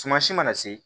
Sumasi mana se